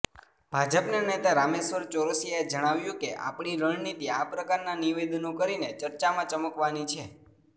ભાજપ નેતા રામેશ્વર ચૌરસિયાએ જણાવ્યું કે આપની રણનીતિ આ પ્રકારના નિવેદનો કરીને ચર્ચામાં ચમકવાની છે